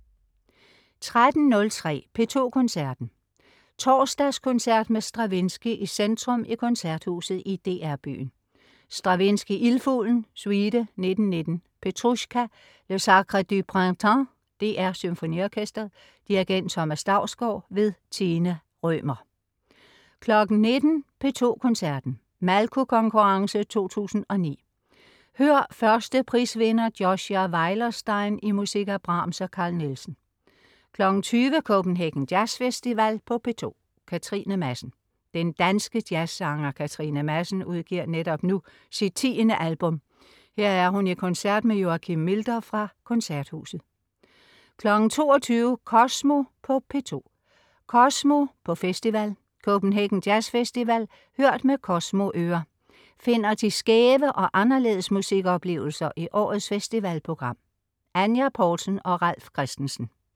13.03 P2 Koncerten. Torsdagskoncert med Stravinsky i centrum i Koncerthuset i DR byen. Stravinsky: Ildfuglen, suite (1919), Petrusjka, Le Sacre du Printemps. DR SymfoniOrkestret. Dirigent: Thomas Dausgaard. Tina Rømer 19.00 P2 Koncerten. Malko Konkurrence 2009. Hør 1. prisvinder Joshua Weilerstein i musik af Brahms og Carl Nielsen 20.00 Copenhagen Jazz Festival på P2. Katrine Madsen. Den danske jazzsanger Katrine Madsen udgiver netop nu sit 10. album. Her er hun i koncert med Joakim Milder fra Koncerthuset 22.00 Kosmo på P2. "Kosmo" på Festival. Copenhagen Jazz Festival hørt med "Kosmo"-ører. finder de skæve og anderledes musikoplevelser i årets festivalprogram. Anya Poulsen og Ralf Christensen